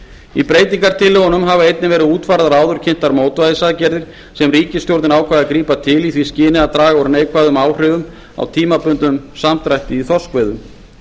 í breytingartillögunum hafa einnig verið útfærðar áður kynntar mótvægisaðgerðir sem ríkisstjórnin ákvað að grípa til í því skyni að draga úr neikvæðum áhrifum af tímabundnum samdrætti í þorskveiðum